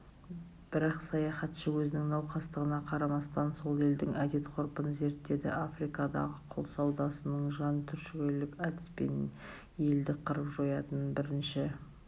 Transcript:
бірақ саяхатшы өзінің науқастығына қарамастан сол елдің әдет-ғұрпын зерттеді африкадағы құл саудасының жан түршігерлік әдіспен елді қырып-жоятынын бірінші